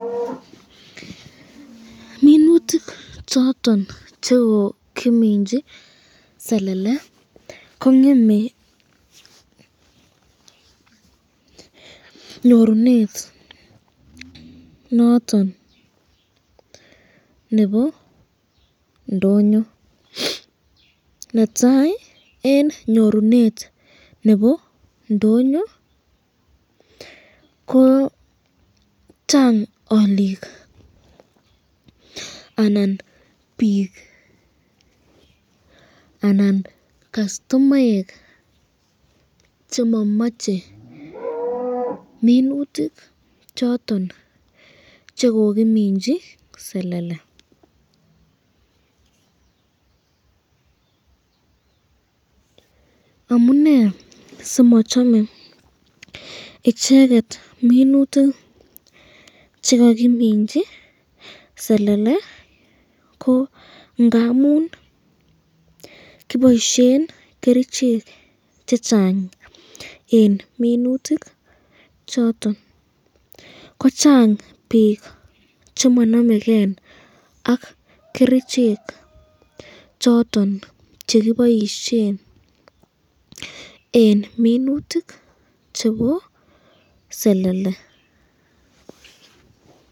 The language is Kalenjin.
Minutik choton chekokiminchi selele kongeme nyorunet noton nebo ndonyo, netai eng nyorunet nebo ndonyo ko Chang alikua anan bik anan kastomaek chemamache minutik choton chekokiminchi selele, amunee simachame icheket minutik chekakiminchi selele ko ngamun kiboisyen kerichek chechang eng minutik choton, ko Chang bik chemananeken ak kerichek choton chekiboisyen eng minutik chebo selele